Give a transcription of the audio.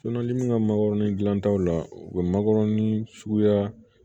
min ka magɔrɔni gilantaw la u bɛ makɔrɔni suguya